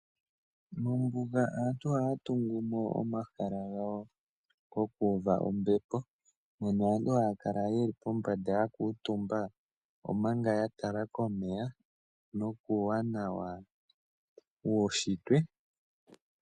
Mombuga aantu ohaya tungumo omahala gawo gokuuva ombepo , mono aantu haya kala yeli pombanda yakuutumba omanga yatala komeya nokuuwanawa wuunshitwe .